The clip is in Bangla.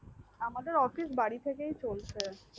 আমাদের office বাড়ি থেকে চলছে